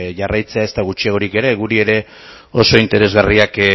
jarraitzea ezta gutxiagorik ere guri ere oso interesgarriak